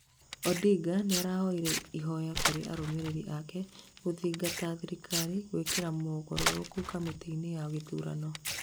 Odinga nĩarahoire ihoya kũrĩ arumĩrĩri ake gũthingata thirikari gwĩka mogaruruku kamĩtĩinĩ ya gĩthurano